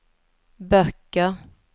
böcker